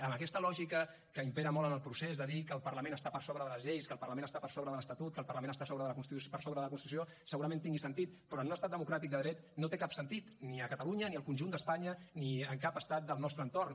amb aquesta lògica que impera molt en el procés de dir que el parlament està per sobre de les lleis que el parlament està per sobre de l’estatut que el parlament està per sobre de la constitució segurament tingui sentit però en un estat democràtic de dret no té cap sentit ni a catalunya ni al conjunt d’espanya ni en cap estat del nostre entorn